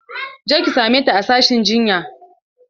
Je ki same ta a sashin jinya!